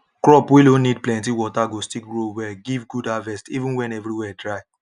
crops wey no need plenty water go still grow well give good harvest even when every where dry